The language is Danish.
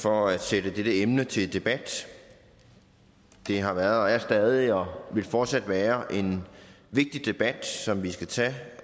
for at sætte dette emne til debat det har været er stadig og vil fortsat være en vigtig debat som vi skal tage